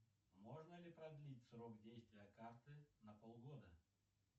можно ли продлить срок действия карты на полгода